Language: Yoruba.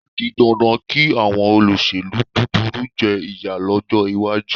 Ó di dandan kí àwọn olóṣèlú búburú jẹ ìyà lọ́jọ́ iwájú.